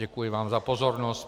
Děkuji vám za pozornost.